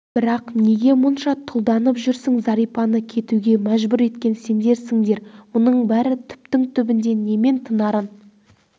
бірақ неге мұнша тұлданып жүрсің зәрипаны кетуге мәжбүр еткен сендерсіңдер мұның бәрі түптің түбінде немен тынарын